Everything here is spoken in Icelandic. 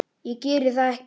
Ég geri það ekki!